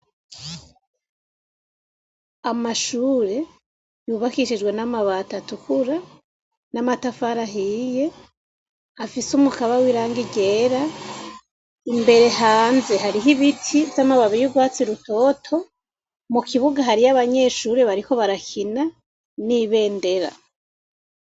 Amashure yubakishijwe n'amabati atukura n'amatafari ahiye afise umukaba w'irangi ryera. Imbere hanze hariho ibiti vy'amababi y'ugwatsi rutoto. Mu kibuga hariyo abanyeshure bariko barakina, n'ibendera